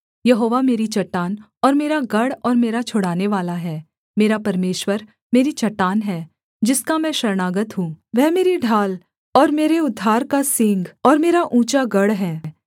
यहोवा मेरी चट्टान और मेरा गढ़ और मेरा छुड़ानेवाला है मेरा परमेश्वर मेरी चट्टान है जिसका मैं शरणागत हूँ वह मेरी ढाल और मेरी उद्धार का सींग और मेरा ऊँचा गढ़ है